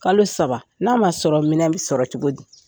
Kalo saba n'a ma sɔrɔ minɛn bɛ sɔrɔ cogo di?